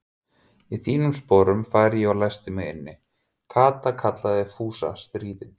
Í þínum sporum færi ég og læsti mig inni, Kata kallaði Fúsi stríðinn.